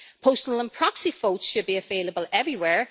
postal and proxy votes should be available everywhere